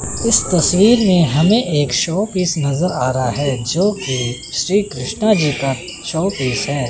इस तस्वीर में हमें एक शोपीस नजर आ रहा है जो कि श्री कृष्णा जी का शोपीस है।